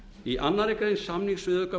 í annarri grein samningsviðauka